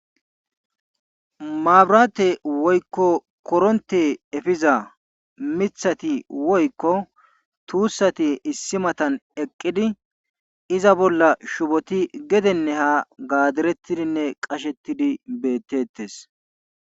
Mabiraate woykko korontte efiza mithati woykko tuussati issi matan eqqidinne iza bolla shuboti gedenne haa gadereettidinne qashettidi beetteettes.